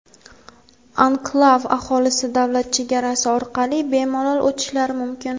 Anklav aholisi davlat chegarasi orqali bemalol o‘tishlari mumkin.